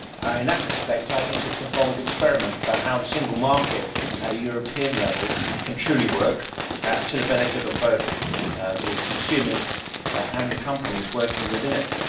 In that respect, it is a bold experiment about how the single market at a European level can truly work to the benefit of both consumers and companies working within it.